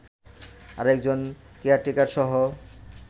আরেকজন কেয়ারটেকারসহ